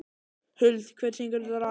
Huld, hver syngur þetta lag?